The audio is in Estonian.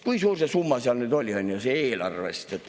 Kui suur see summa eelarvest oli?